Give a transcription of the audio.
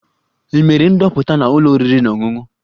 Ị mere ndoputa na ụlọ oriri na ọṅụṅụ?